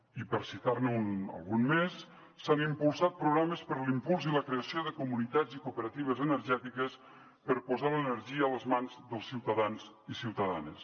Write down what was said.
i per citar ne algun més s’han impulsat programes per a l’impuls i la creació de comunitats i cooperatives energètiques per posar l’energia a les mans dels ciutadans i ciutadanes